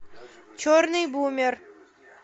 черный бумер